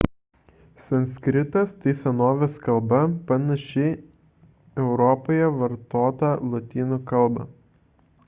sanskritas – tai senovinė kalba panaši europoje vartotą lotynų kalbą